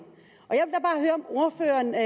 jeg